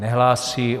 Nehlásí.